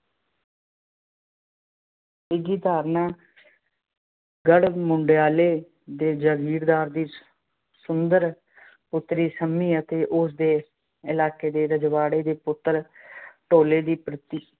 ਤੀਜੀ ਧਾਰਨਾ ਗੜ-ਮੰਡਿਆਲੇ ਦੇ ਜਗੀਰਦਾਰ ਦੀ ਸੁੰਦਰ ਪੁੱਤਰੀ ਸੰਮੀ ਅਤੇ ਉਸਦੇ ਇਲਾਕੇ ਦੇ ਰਜਵਾੜੇ ਦੇ ਪੁੱਤਰ ਢੋਲੇ ਦੀ ਪ੍ਰੀਤ